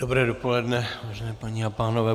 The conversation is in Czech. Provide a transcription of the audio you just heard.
Dobré dopoledne, vážené paní a pánové.